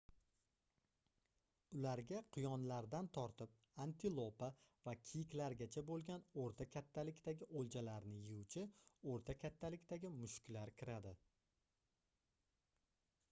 ularga quyonlardan tortib antilopa va kiyiklargacha boʻlgan oʻrta kattalikdagi oʻljalarni yeyuvchi oʻrta kattalikdagi mushuklar kiradi